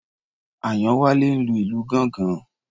Àyánwálé ń lu ìlù gángan.